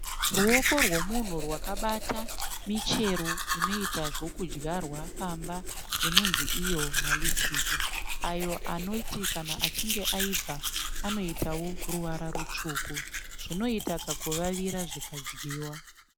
Ruoko rwomunhu rwakabata michero inoita zvokudyarwa pamba inonzi iyo ma"litchis" ayo anoti kana achinge aibva anoitawo ruvara rutsvuku. Zvinoita kakuvavira zvikadyiwa.